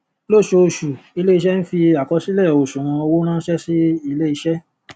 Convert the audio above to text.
lósooṣù ilé-iṣẹ n fi àkọsílẹ òsùwọn owó rán ṣẹ sí ilé iṣé